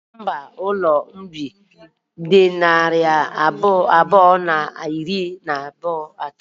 Nọmba ụlọ mbụ m dị narị abụọ na iri na atọ.